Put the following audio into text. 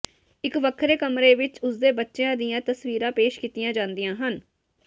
ਇਕ ਵੱਖਰੇ ਕਮਰੇ ਵਿਚ ਉਸ ਦੇ ਬੱਚਿਆਂ ਦੀਆਂ ਤਸਵੀਰਾਂ ਪੇਸ਼ ਕੀਤੀਆਂ ਜਾਂਦੀਆਂ ਹਨ